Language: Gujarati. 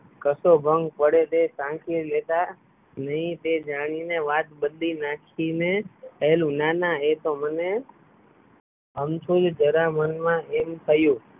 કશો ભંગ પડે તે સાચવી લેતા નય તે જાણી ને વાત બદલી નાખી ને કહેલું ના ના એતો મને અમથુંય જરા મનમાં એમ થયું